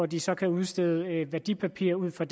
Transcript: de så kan udstede værdipapirer ud fra